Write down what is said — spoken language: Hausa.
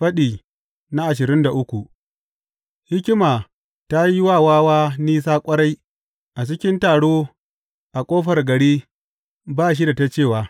Faɗi ashirin da uku Hikima ta yi wa wawa nisa ƙwarai a cikin taro a ƙofar gari ba shi da ta cewa.